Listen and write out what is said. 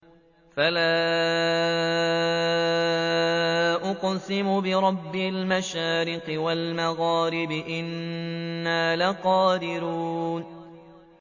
فَلَا أُقْسِمُ بِرَبِّ الْمَشَارِقِ وَالْمَغَارِبِ إِنَّا لَقَادِرُونَ